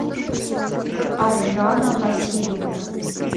аржана васильевна